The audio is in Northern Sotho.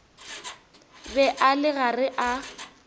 be a le gare a